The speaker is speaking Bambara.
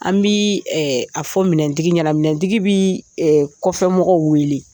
An bi a fɔ minɛntigi ɲɛna minɛntigi bi kɔfɛmɔgɔw weele